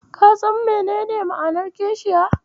Ka san menene ma'anar kishiya?